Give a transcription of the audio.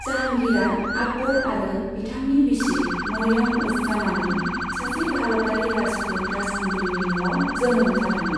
जाहांगीरआ आकबर आरो बिथांनि बिसि मारियाम उज जामानी, सासे भारतारि राजपुत राजखुंग्रिनि न'आव जोनोम जादोंमोन।